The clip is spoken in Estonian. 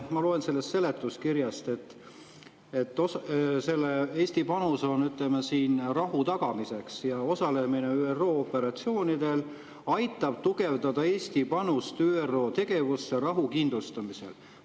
Ma loen seletuskirjast, et Eesti panus on rahu tagamiseks ja osalemine ÜRO operatsioonidel aitab tugevdada Eesti panust ÜRO tegevusse rahu kindlustamisel.